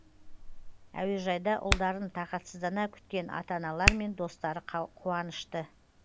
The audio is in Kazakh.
әуежайда ұлдарын тағатсыздана күткен ата аналар мен достары қуанышты